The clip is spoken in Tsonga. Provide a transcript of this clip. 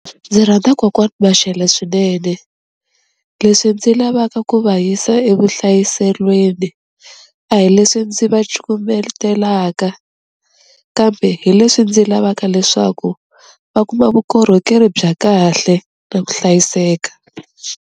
Ndzi rhandza kokwani Mashele swinene, leswi ndzi lavaka ku va yisa evuhlayiselweni a hi leswi ndzi va cukumetelaka, kambe hi leswi ndzi lavaka leswaku va kuma vukorhokeri bya kahle na ku hlayiseka.